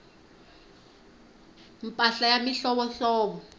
mpahla ya mihlovohlovo